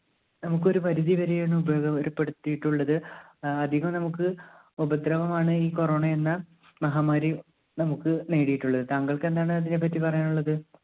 നമ്മുക്കൊരു പരിധിവരെ ആണ് ഉപകാരപ്പെടുത്തിയിട്ടുള്ളത്. അധികം നമ്മുക്ക് ഉപദ്രവമാണ് ഈ corona എന്ന മഹാമാരി നമ്മുക്ക് നേടിയിട്ടുള്ളത്. താങ്കൾക്ക് എന്താണ് അതിനെപ്പറ്റി പറയാനുള്ളത്